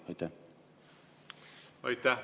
Aitäh!